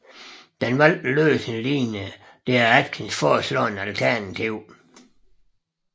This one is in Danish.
Den valgte løsning lignede det af Atkins foreslåede alternativ